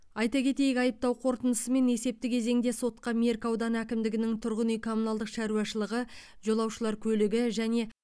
айта кетейік айыптау қорытындысымен есепті кезеңде сотқа меркі ауданы әкімдігінің тұрғын үй коммуналдық шаруашылығы жолаушылар көлігі және